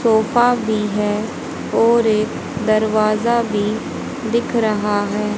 Sofa भी है और एक दरवाजा भी दिख रहा है।